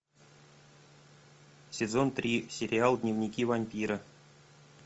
сезон три сериал дневники вампира